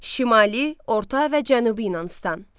Şimali, orta və Cənubi Yunanıstan.